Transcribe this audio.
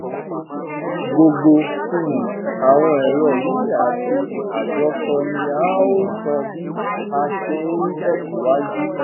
gbogbo um àwọn èrò yìí àti àjọsọ ni a óò sọ bí a ṣe ń tẹsíwájú